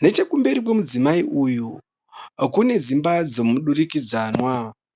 Nechekumberi kwemudzimai uyu kune dzimba dzemudurikidzanwa.